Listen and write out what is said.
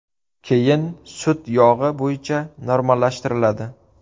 Keyin sut yog‘i bo‘yicha normallashtiriladi.